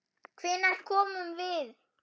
Hvenær komum við?